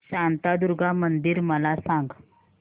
शांतादुर्गा मंदिर मला सांग